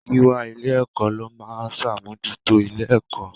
Gíwá ilé-ẹ̀kọ́ ló máa ń ṣàmójútó ilé-ẹ̀kọ́.